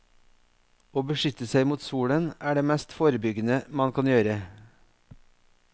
Å beskytte seg mot solen er det mest forebyggende man kan gjøre.